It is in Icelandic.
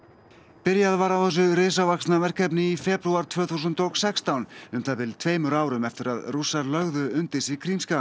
byrjað var á þessu risavaxna verkefni í febrúar tvö þúsund og sextán um það bil tveimur árum eftir að Rússar lögðu undir sig